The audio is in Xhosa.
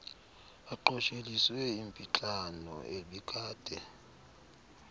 aqosheliswe impixano ebikade